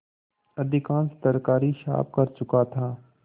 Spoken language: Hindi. अधिकांश तरकारी साफ कर चुका था